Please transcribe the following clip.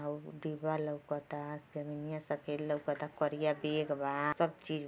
how दीवाल लउकता जमिनिया सफ़ेद लउकताकरिया बेग बा सब चीज --